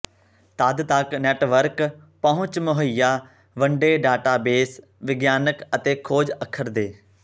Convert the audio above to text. ਤਦ ਤੱਕ ਨੈੱਟਵਰਕ ਪਹੁੰਚ ਮੁਹੱਈਆ ਵੰਡੇ ਡਾਟਾਬੇਸ ਵਿਗਿਆਨਕ ਅਤੇ ਖੋਜ ਅੱਖਰ ਦੇ